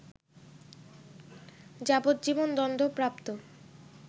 যাবজ্জীবন দণ্ডপ্রাপ্ত